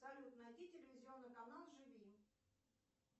салют найди телевизионный канал живи